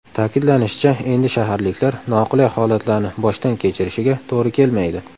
Ta’kidlanishicha, endi shaharliklar noqulay holatlarni boshdan kechirishiga to‘g‘ri kelmaydi.